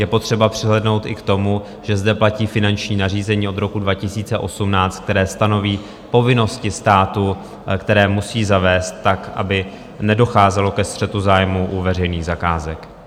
Je potřeba přihlédnout i k tomu, že zde platí finanční nařízení od roku 2018, které stanoví povinnosti státu, které musí zavést tak, aby nedocházelo ke střetu zájmů u veřejných zakázek.